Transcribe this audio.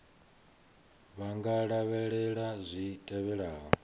vha nga lavhelela zwi tevhelaho